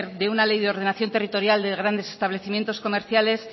de una ley de ordenación territorial de grandes establecimientos comerciales